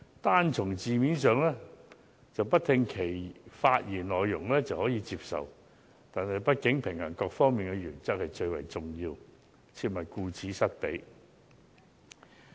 單從字面而言，即使不聆聽其發言內容也可以接受，但畢竟平衡各方面的原則是最為重要的一點，切忌顧此失彼。